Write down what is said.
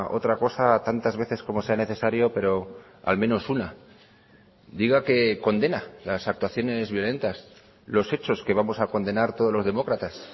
otra cosa tantas veces como sea necesario pero al menos una diga que condena las actuaciones violentas los hechos que vamos a condenar todos los demócratas